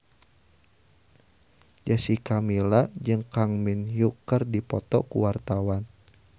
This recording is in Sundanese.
Jessica Milla jeung Kang Min Hyuk keur dipoto ku wartawan